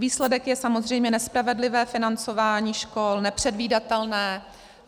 Výsledek je samozřejmě nespravedlivé financování škol, nepředvídatelné.